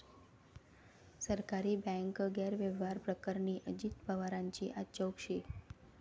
सहकारी बँक गैरव्यवहार प्रकरणी अजित पवारांची आज चौकशी